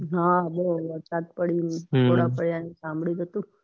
હા વરસાદ પડ્યો ગોલાં સાંભળ્યું તો હતું